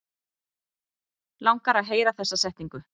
Langar að heyra þessa setningu.